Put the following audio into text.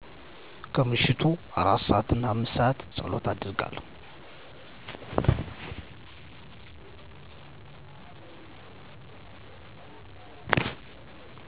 ከምሽቱ 4:00-5:00 ፀሎት አደርጋለሁ